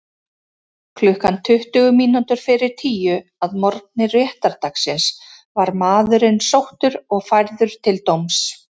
Klukkan tuttugu mínútur fyrir tíu að morgni réttardagsins var maðurinn sóttur og færður til dóms.